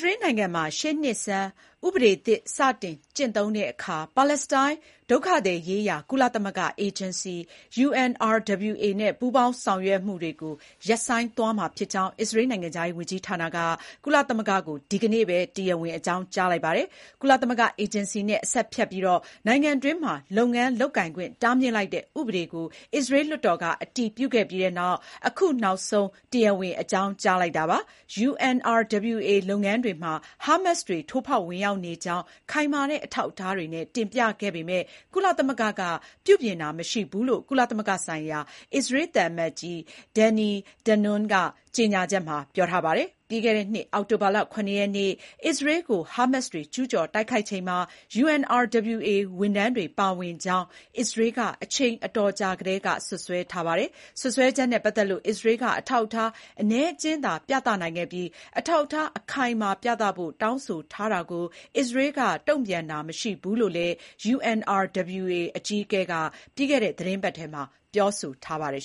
ရေးနိုင်ငံမှာ ရှေ့နှစ်ဆန်း ဥပဒေသစ် စတင်ကျင့်သုံးတဲ့အခါ ပါလက်စတိုင်း ဒုက္ခသည်ရေးရာ ကုလသမဂ္ဂ အေဂျင်စီ (UNRWA) နဲ့ ပူးပေါင်းဆောင်ရွက်မှုတွေ ရပ်ဆိုင်းမှာဖြစ်ကြောင်း အစ္စရေးနိုင်ငံခြားရေးဝန်ကြီးဌာနက ကုလသမဂ္ဂကို ဒီကနေ့ပဲ တရားဝင် အကြောင်းကြားလိုက်ပါတယ်။ ကုလသမဂ္ဂအေဂျင်စီနဲ့ အဆက်ဖြတ်ပြီး နိုင်ငံတွင်းမှာ လုပ်ငန်းလုပ်ကိုင်ခွင့် တားမြစ်လိုက်တဲ့ ဥပဒေကို အစ္စရေးလွှတ်တော်က အတည်ပြုခဲ့ပြီးနောက် အခုနောက်ဆုံး တရားဝင် အကြောင်းကြားလိုက်တာပါ။ UNRWA လုပ်ငန်းတွေမှာ ဟားမတ်စ်တွေ ထိုးဖောက်ဝင်ရောက်နေကြောင်း ခိုင်မာတဲ့ အထောက်အထားတွေနဲ့ တင်ပြခဲ့ပေမဲ့ ကုလသမဂ္ဂက ပြုပြင်တာ မရှိဘူးလို့ ကုလသမဂ္ဂဆိုင်ရာ အစ္စရေးသံအမတ်ကြီး Danny Danon က ကြေညာချက်မှာ ပြောဆိုထားပါတယ်။ ပြီးခဲ့တဲ့နှစ် အောက်တိုဘာလ ၇ ရက်နေ့ အစ္စရေးကို ဟားမတ်စ်တွေကျူးကျော်တိုက်ခိုက်ချိန်မှာ UNRWA ဝန်ထမ်းတွေ ပါဝင်ကြောင်း အစ္စရေးက အချိန်အတော်ကြာ ကတည်းက စွပ်စွဲထားတာပါ။ စွပ်စွဲချက်နဲ့ ပတ်သက်လို့ အစ္စရေးက အထောက်အထား အနည်းအကျဉ်းသာ ပြသနိုင်ခဲ့ပြီး အထောက်အထား အခိုင်အမာပြသဖို့ တောင်းဆိုထားတာကို အစ္စရေးက တုံ့ပြန်တာ မရှိဘူးလို့လည်း UNRWA အကြီးအကဲ Philippe Lazzarini က ပြီးခဲ့တဲ့ သီတင်းပတ်ထဲမှာပဲ ပြောဆိုထားပါတယ်